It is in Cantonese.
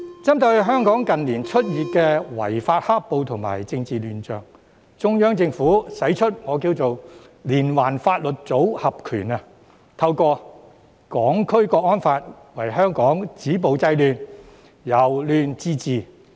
針對香港近年出現的違法"黑暴"及政治亂象，中央政府使出"連環法律組合拳"，透過《香港國安法》為香港止暴制亂，令社會由亂到治。